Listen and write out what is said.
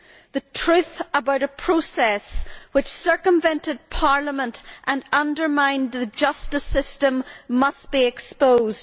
The truth about a process which circumvented the UK Parliament and undermined the justice system must be exposed.